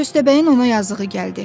Köstəbəyin ona yazığı gəldi.